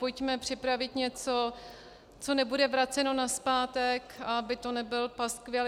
Pojďme připravit něco, co nebude vraceno nazpátek, aby to nebyl paskvil.